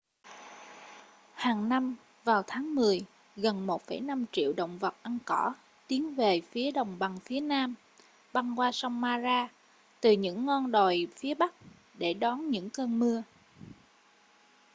hàng năm vào tháng mười gần 1,5 triệu động vật ăn cỏ tiến về phía đồng bằng phía nam băng qua sông mara từ những ngon đồi phía bắc để đón những cơn mưa